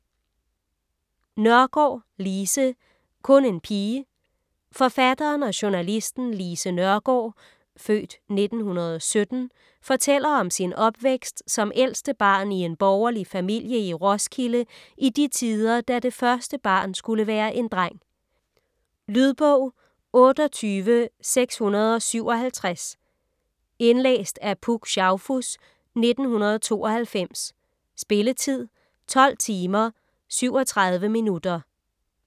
Nørgaard, Lise: Kun en pige Forfatteren og journalisten Lise Nørgaard (f. 1917) fortæller om sin opvækst som ældste barn i en borgerlig familie i Roskilde i de tider, da det første barn skulle være en dreng. . Lydbog 28657 Indlæst af Puk Schaufuss, 1992. Spilletid: 12 timer, 37 minutter.